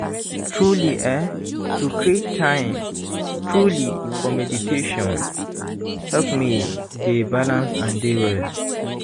truely eeh to create time truely for meditation help me dey balance and dey well.